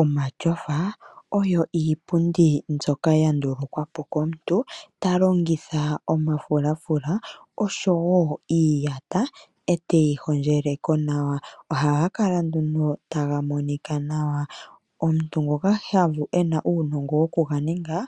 Omatyofa oyo iipundi mbyoka ya ndulukwa po komuntu ta longitha omafulafula oshowo iiyata eteyi hondjele ko nawa. Ohaga kala nduno taga monika nawa. Omuntu ngoka ena uunongo wokuganinga,